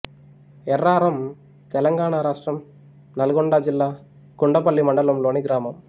ఎర్రారం తెలంగాణ రాష్ట్రం నల్గొండ జిల్లా గుండ్లపల్లి మండలంలోని గ్రామం